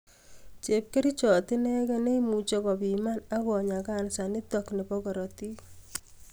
Chepkirichot inegen ne imuche ko piman akonyaa kansa nitok nebo korotik